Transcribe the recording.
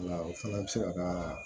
O la o fana bɛ se ka kaaa